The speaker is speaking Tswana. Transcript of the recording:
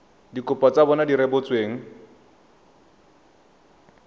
dikopo tsa bona di rebotsweng